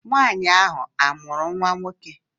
Nwaanyị ahụ amụrụ nwa nwoke?